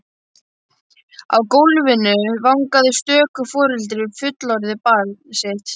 Á gólfinu vangaði stöku foreldri við fullorðið barn sitt.